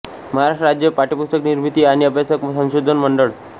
महाराष्ट्र राज्य पाठ्यपुस्तक निर्मिती आणि अभ्यासक्रम संशोधन मंडळ